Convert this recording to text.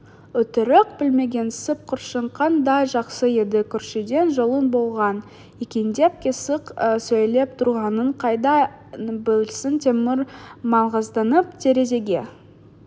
өтірік білмегенсіп көршің қандай жақсы еді көршіден жолың болған екендеп қисық сөйлеп тұрғанын қайдан білсін темір маңғазданып терезеге